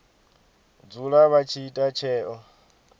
dzula vha tshi ita tsheo